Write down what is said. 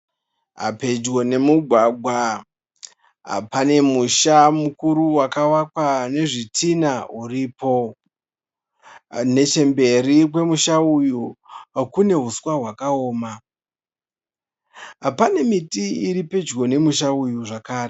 Pedyo nemugwagwa pane musha mukuru wakavakwa nezvitinha uripo . Nechemberi kwemusha uyu kune huswa hwakaoma . Pane miti iri pedyo nemusha uyu zvakare .